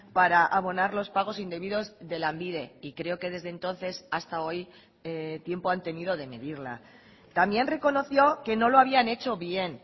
para abonar los pagos indebidos de lanbide y creo que desde entonces hasta hoy tiempo han tenido de medirla también reconoció que no lo habían hecho bien